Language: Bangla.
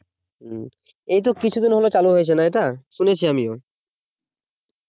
এই তো কিছুদিন হলো চালু হয়েছে না এটা শুনেছি আমিও